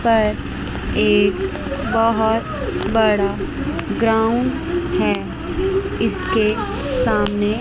पर एक बहुत बड़ा ग्राउंड है इसके सामने।